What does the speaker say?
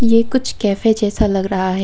ये कुछ कैफे जैसा लग रहा है।